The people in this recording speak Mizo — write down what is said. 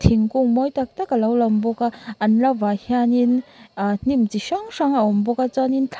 thingkung mawi tak tak alo lawm bawka an lovah hianin ahh hnim chi hrang hrang a awm bawk a chuanin thlai--